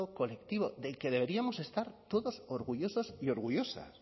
colectivo del que deberíamos estar todos orgullosos y orgullosas